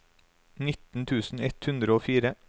nitten tusen ett hundre og fire